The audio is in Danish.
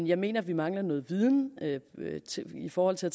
jeg mener at vi mangler noget viden i forhold til at